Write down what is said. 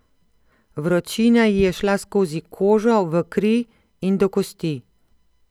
Vročina ji je šla skozi kožo v kri in do kosti.